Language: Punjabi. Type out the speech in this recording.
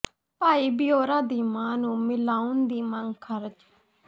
ਭਾਈ ਭਿਓਰਾ ਦੀ ਮਾਂ ਨੂੰ ਮਿਲਾਉਣ ਦੀ ਮੰਗ ਖ਼ਾਰਜ